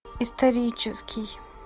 исторический